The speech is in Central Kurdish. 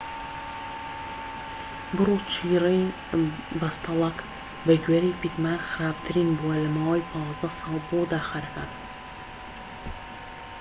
بڕ و چڕی بەستەڵەک بە گوێرەی پیتمان خراپترین بووە لە ماوەی 15 ساڵدا بۆ داخەرەکان